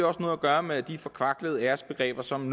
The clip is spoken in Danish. også noget at gøre med de forkvaklede æresbegreber som